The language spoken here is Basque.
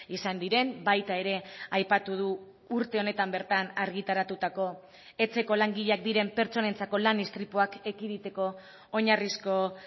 izan diren baita ere aipatu du urte honetan bertan argitaratutako etxeko langileak diren pertsonentzako lan istripuak ekiditeko oinarrizko